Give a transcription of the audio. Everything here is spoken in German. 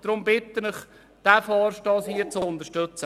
Darum bitte ich Sie, diesen Vorstoss zu unterstützen.